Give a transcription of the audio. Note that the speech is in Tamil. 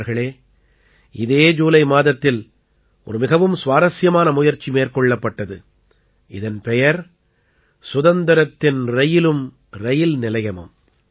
நண்பர்களே இதே ஜூலை மாதத்தில் ஒரு மிகவும் சுவாரசியமான முயற்சி மேற்கொள்ளப்பட்டது இதன் பெயர் சுதந்திரத்தின் ரயிலும் ரயில் நிலையமும்